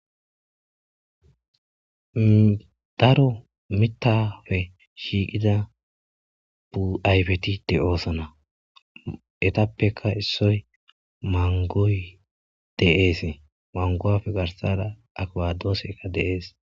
daro mitafe shiiqida bu7aybeti de oosana etappeka issoy mangoy deeese mangoafe garsada aqwadooseka deees